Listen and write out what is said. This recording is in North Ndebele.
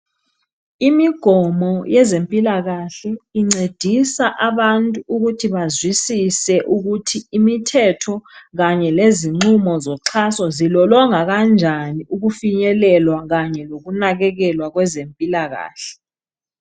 Imigomo yezempilakahle incedisa abantu ukuthi bazwisise ukuthi imithetho kanye lezinqumo zoxhaso zilolongwa kanjani ukufinyelelwa Kanye lokunakekelwa kwezempilakahle.